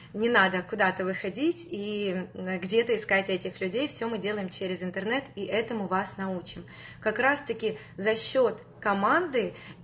не надо куда-то выходить и где это искать этих людей все мы делаем через интернет и этому вас научим как раз таки за счёт команды